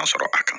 Ka sɔrɔ a kan